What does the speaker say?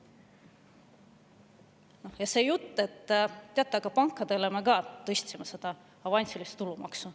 Ja siis see jutt, et teate, me tõstsime pankade avansilist tulumaksu.